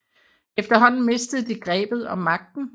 Efterhånden mistede de grebet om magten